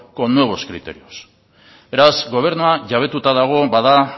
con nuevos criterios beraz gobernua jabetuta dago bada